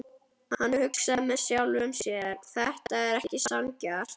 Hann hugsaði með sjálfum sér: Þetta er ekki sanngjarnt.